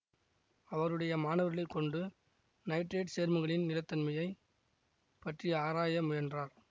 அவருடைய மாணவர்களை கொண்டு நைட்ரேட் சேர்மங்களின் நிலைத்தனமை பற்றி ஆராய முயன்றார்